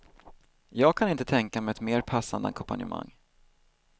Jag kan inte tänka mig ett mer passande ackompanjemang.